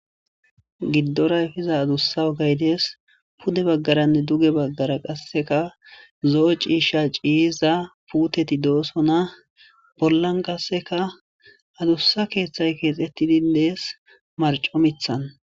giddoray fiza adussa ogaydees pude baggaranne duge baggara qasseka zo7o ciisha ciyiza puuteti doosona bollan qasseka adussa keeththay keexettidindees marco mithan